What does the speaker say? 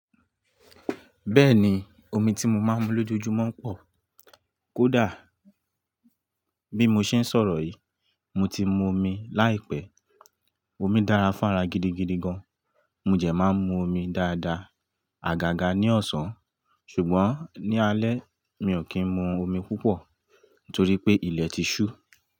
Bẹ́ẹ̀ni, omi ti mo máa ń mu lójoojúmọ́ ń pọ̀. Kódà bí mo ṣe ń sọ̀rọ̀ yìí, mo ti mu omi láìpẹ́. Omi dára fún ara gidigidi gan. Mo jẹ̀ máa ń mu omi dáadáa àgàgà ní ọ̀sán, ṣùgbọ́n ní alẹ́ mi ò kí ń mu omi púpọ̀ torí pé ilẹ̀ ti ṣú.